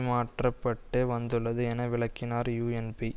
மாற்ற பட்டு வந்துள்ளது என விளக்கினார் யூஎன்பி